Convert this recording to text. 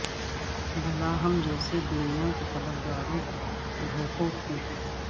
بھلا ہم جیسے دنیا کے طلبگاروں کو بھوکوں کو